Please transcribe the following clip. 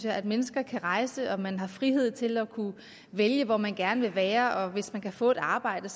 at mennesker kan rejse at man har frihed til at vælge hvor man gerne vil være og at man hvis man kan få et arbejde